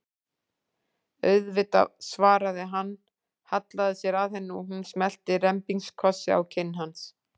Auðvitað, svaraði hann, hallaði sér að henni og hún smellti rembingskossi á kinn hans.